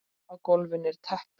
Á gólfinu er teppi.